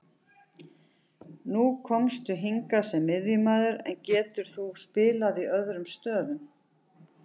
Nú komstu hingað sem miðjumaður, en getur þú spilað í öðrum stöðum?